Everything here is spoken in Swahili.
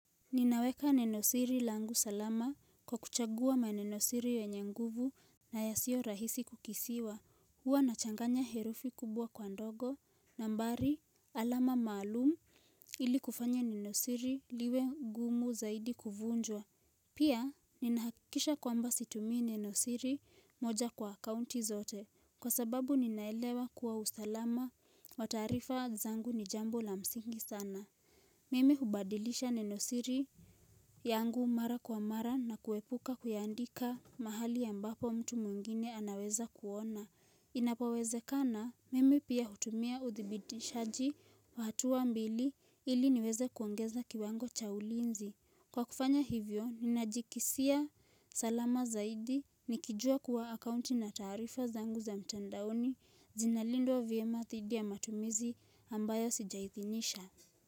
Ninaweka nenosiri langu salama kwa kuchagua maneno siri yenye nguvu na yasio rahisi kukisiwa huwa nachanganya herufi kubwa kwa ndogo nambari alama maalumu ili kufanya nenosiri liwe ngumu zaidi kuvunjwa Pia ninahakisha kwamba situmii nenosiri moja kwa akaunti zote kwa sababu ninaelewa kuwa usalama wa taarifa zangu ni jambo la msingi sana Mimi hubadilisha nenosiri yangu mara kwa mara na kuepuka kuyaandika mahali ambapo mtu mwingine anaweza kuona. Inapowezekana, mimi pia hutumia uthibitishaji wa hatuwa mbili ili niweze kuongeza kiwango cha ulinzi. Kwa kufanya hivyo, ninajikisia salama zaidi nikijua kuwa akaunti na tarifa zangu za mtandaoni zinalindwa vyema thidi ya matumizi ambayo sijahithinisha.